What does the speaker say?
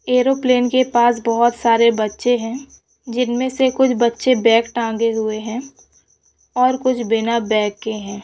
Aeroplane की पास बोहत सारे बच्चे है जिनमे से कुछ बच्चे बैग टंगे हुए है और कुछ बिना बैग के है।